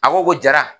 A ko ko jara